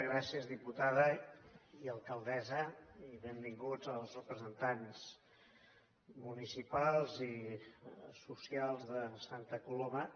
gràcies diputada i alcaldessa i benvinguts els representants municipals i socials de santa coloma